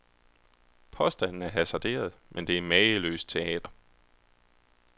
Påstanden er hasarderet, men det er mageløst teater.